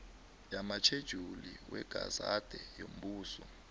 lamatjhejuli wegazede yombuso